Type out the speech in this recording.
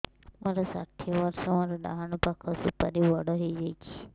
ମୋର ଷାଠିଏ ବର୍ଷ ମୋର ଡାହାଣ ପାଖ ସୁପାରୀ ବଡ ହୈ ଯାଇଛ